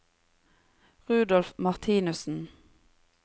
Rudolf Martinussen